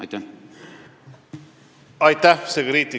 Infotunni lõpuni on jäänud kaks minutit.